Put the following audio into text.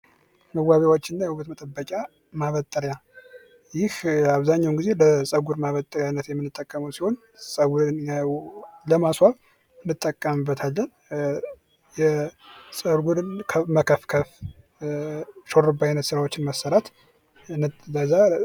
መዋቢያዎች እና የውበት መጠበቂያ ማበጠሪያ ይህ አብዛኛውን ጊዜ በፀጉር ማበጠሪያነት የምንጠቀመው ሲሆን፤ ጸጉርን ለማስዋብ እንጠቀምበታለን። ፀጉርን መከፍከፍ ሹሩባ አይነት ስራዎችን መስራት ከዛ ...